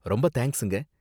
ரொம்ப தேங்க்ஸுங்க.